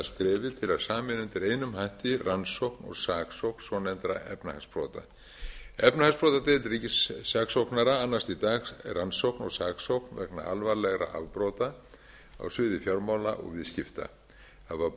að sameina undir einum hatti rannsókn og saksókn svonefndra efnahagsbrota efnahagsbrotadeild ríkissaksóknara annast í dag rannsókn og saksókn vegna alvarlegra afbrota á sviði fjármála og viðskipta hafa